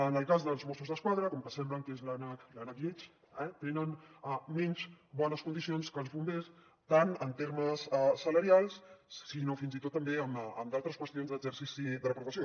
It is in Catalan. en el cas dels mossos d’esquadra com que sembla que són l’ànec lleig eh tenen menys bones condicions que els bombers tant en termes salarials com fins i tot també en d’altres qüestions d’exercici de la professió